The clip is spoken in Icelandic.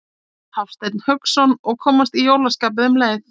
Hafsteinn Hauksson: Og komast í jólaskapið um leið?